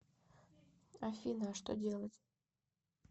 афина а что делать